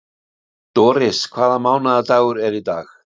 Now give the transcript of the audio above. Doris, hvaða mánaðardagur er í dag?